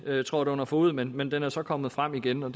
trådt under fode men men den er så kommet frem igen og